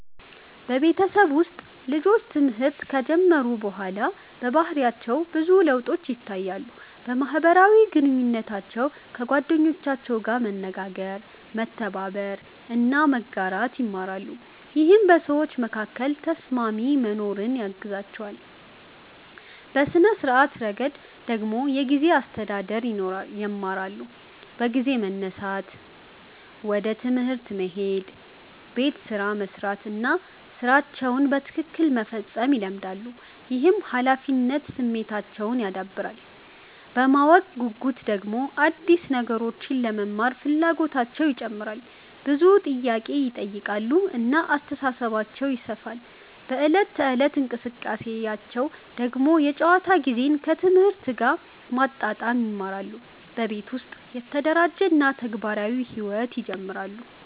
በቤተሰብ ውስጥ ልጆች ትምህርት ከጀመሩ በኋላ በባህሪያቸው ብዙ ለውጦች ይታያሉ። በማህበራዊ ግንኙነታቸው ከጓደኞቻቸው ጋር መነጋገር፣ መተባበር እና መጋራት ይማራሉ፣ ይህም በሰዎች መካከል ተስማሚ መኖርን ያግዛቸዋል። በሥነ-ስርዓት ረገድ ደግሞ የጊዜ አስተዳደር ይማራሉ፤ በጊዜ መነሳት፣ ወደ ትምህርት መሄድ፣ ቤት ስራ መስራት እና ሥራቸውን በትክክል መፈጸም ይለመዳሉ። ይህም ኃላፊነት ስሜታቸውን ያዳብራል። በማወቅ ጉጉት ደግሞ አዲስ ነገሮችን ለመማር ፍላጎታቸው ይጨምራል፣ ብዙ ጥያቄ ይጠይቃሉ እና አስተሳሰባቸው ይሰፋል። በዕለት ተዕለት እንቅስቃሴያቸው ደግሞ የጨዋታ ጊዜን ከትምህርት ጋር ማመጣጠን ይማራሉ፣ በቤት ውስጥ የተደራጀ እና ተግባራዊ ሕይወት ይጀምራሉ።